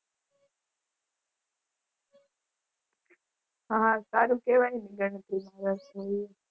હા સારું કહેવાય ને ગણતરીમાં રસ હોય એવું.